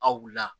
Aw wulila